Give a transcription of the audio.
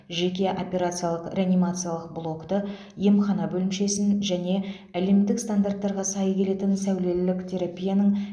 жеке операциялық реанимациялық блокты емхана бөлімшесін және әлемдік стандарттарға сай келетін сәулелілік терапияның